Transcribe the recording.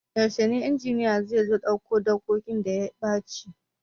Yaushe injiniya zai zo ya ɗau dikodin da ya ɓaci?